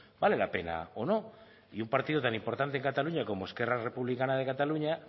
vale la pena o no y un partido tan importante en cataluña como esquerra republicana de cataluña